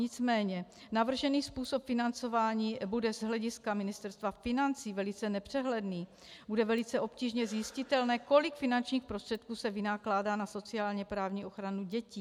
Nicméně navržený způsob financování bude z hlediska Ministerstva financí velice nepřehledný, bude velice obtížně zjistitelné, kolik finančních prostředků se vynakládá na sociálně-právní ochranu dětí.